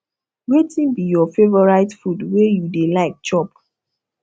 wetin be your favourite food wey you dey like chop